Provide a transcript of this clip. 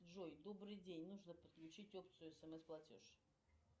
джой добрый день нужно подключить опцию смс платеж